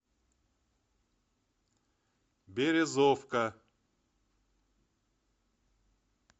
березовка